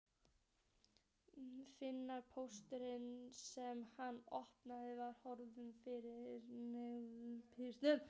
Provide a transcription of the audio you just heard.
Fimmti pósturinn sem hann opnaði var hvorki pöntun né fyrirspurn.